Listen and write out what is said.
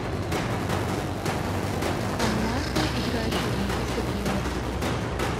команды играющие в английской премьер лиге